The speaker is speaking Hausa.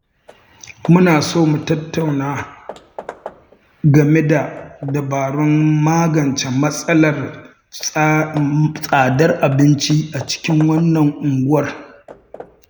Muna so mu tattauna game da dabarun magance matsalar tsadar abinci a cikin unguwar.